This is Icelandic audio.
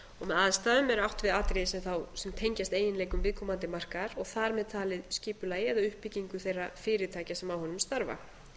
með aðstæðum er átt við atriði sem tengjast eiginleikum viðkomandi markaðar og þar með talið skipulagi eða uppbyggingu þeirra fyrirtækja sem á honum starfa